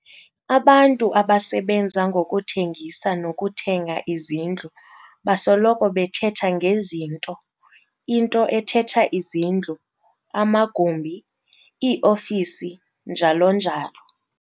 Abantu abasebenza ngokuthengisa nokuthenga izindlu basoloko bethetha nge"zinto", into ethetha izindlu, amagumbi, ii-ofisi, njalo njalo.